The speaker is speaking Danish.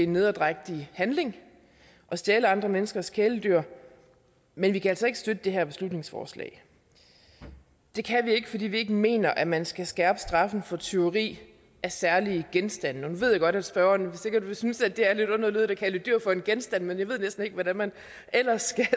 nederdrægtig handling at stjæle andre menneskers kæledyr men vi kan altså ikke støtte det her beslutningsforslag det kan vi ikke fordi vi ikke mener at man skal skærpe straffen for tyveri af særlige genstande nu ved jeg godt at spørgerne sikkert vil synes at det er lidt underligt at kalde et dyr for en genstand men jeg ved næsten ikke hvordan man ellers